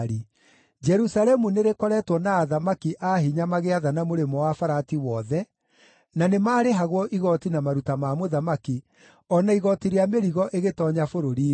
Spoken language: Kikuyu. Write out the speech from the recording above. Jerusalemu nĩrĩkoretwo na athamaki a hinya magĩathana Mũrĩmo-wa-Farati wothe, na nĩmarĩhagwo igooti na maruta ma mũthamaki, o na igooti rĩa mĩrigo ĩgĩtoonya bũrũri-inĩ.